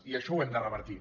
i això ho hem de revertir